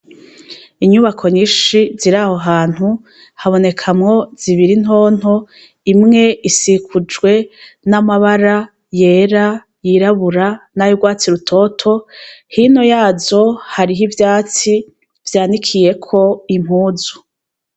Inyubako nyinshi ziraho hantu, habonekamwo zibiri ntonto imwe isikujwe n'amabara yera, y'irabura ,nay 'urwatsi rutoto ,hino yazo harih'ivyatsi vyanikiyeko impuzu.